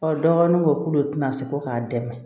dɔgɔnin ko k'olu tɛna se fo k'a dɛmɛ